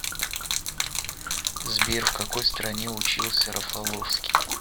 сбер в какой стране учился рафаловский